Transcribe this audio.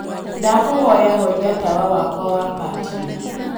ndakūhoya horia tawa wakwa wa patio